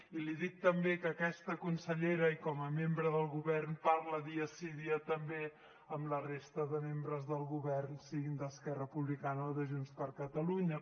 i li dic també que aquesta consellera i com a membre del govern parla dia sí dia també amb la resta de membres del govern siguin d’esquerra republicana o de junts per catalunya